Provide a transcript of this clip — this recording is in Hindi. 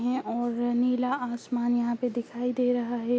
और नीला आसमान यहाँ पे दिखाई दे रहा है।